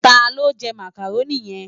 Tá ló njè Mákároni yèn?